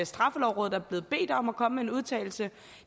straffelovrådet er blevet bedt om at komme med en udtalelse